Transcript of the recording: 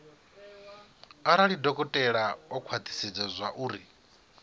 arali dokotela o khwathisedza zwauri